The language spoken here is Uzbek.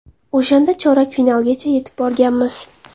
O‘shanda chorak finalgacha yetib borganmiz.